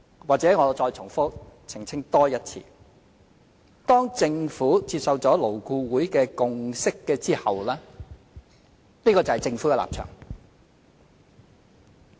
或許我再澄清一次：當政府接受了勞工顧問委員會的共識後，這個就是政府的立場。